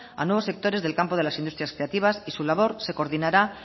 a nuevos sectores del campo de las industrias creativas y su labor se coordinará